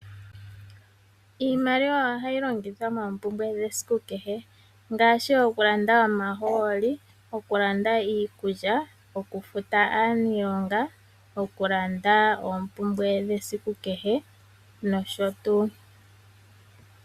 Iimaliwa ohayi longithwa moompumbwe dhesiku kehe ngaashi okulanda omahooli, okulanda iikulya, okufuta aaniilonga, okulanda oompumbwe dhesiku kehe nosho tuu.